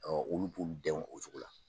Ɔ olu b'u den o cogo la.